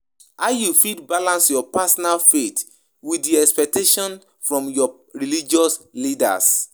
How you fit balance your personal faith with di expectations from your religious leaders?